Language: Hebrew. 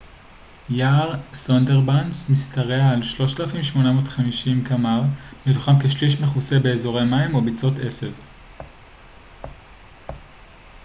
יער סונדרבאנס משתרע על 3,850 קמ ר מתוכם כשליש מכוסה באזורי מים או ביצות עשב